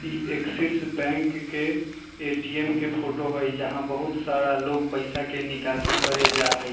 इ Axis bank के ATM. के फोटो हेय जहाँ बहुत सारा लोग पैसा के निकाशी करे जाय हेय।